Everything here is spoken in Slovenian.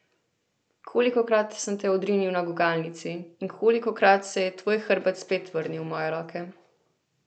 Kolikokrat sem te odrinil na gugalnici, in kolikokrat se je tvoj hrbet spet vrnil v moje roke.